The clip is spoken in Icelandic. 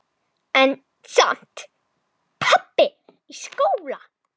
En samt- pabbi í skóla?